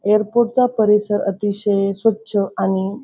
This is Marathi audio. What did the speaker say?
एयरपोर्ट चा परिसर अतिशय स्वच्छ आणि--